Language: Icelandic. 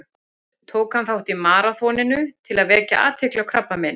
Tók hann þátt í maraþoninu til að vekja athygli á krabbameini.